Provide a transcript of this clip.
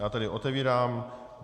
Já tedy otevírám